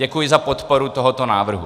Děkuji za podporu tohoto návrhu.